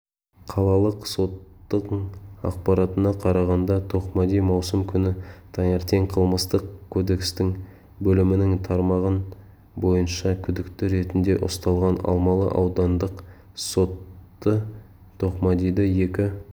қалалық соттың ақпаратына қарағанда тоқмади маусым күні таңертең қылмыстық кодекстің бөлімінің тармағы бойынша күдікті ретінде ұсталған алмалы аудандық соты тоқмадиді екі